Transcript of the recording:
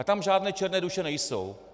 A tam žádné černé duše nejsou.